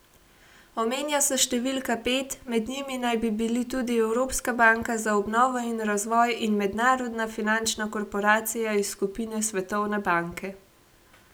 Omenja se številka pet, med njimi naj bi bili tudi Evropska banka za obnovo in razvoj in Mednarodna finančna korporacija iz skupine Svetovne banke.